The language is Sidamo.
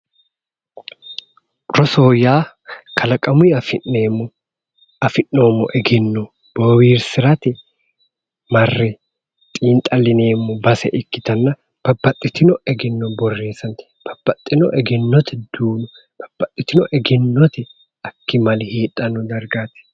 Rosoho yaa kalaqamunni afi'neemo egenno booharisirate marre xiinixxalineemo base ikkitana babbaxitino egenno boreessate babbaxino egenotte babbaxitino egenno akkimale heedhanno darigaati